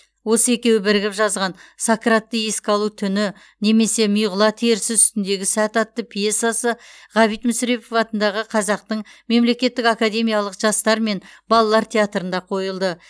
осы екеуі бірігіп жазған сократты еске алу түні немесе миғұла терісі үстіндегі сәт атты пьесасы ғабит мүсірепов атындағы қазақтың мемлекеттік академиялық жастар мен балалар театрында қойылды